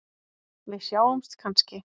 Við sjáumst kannski?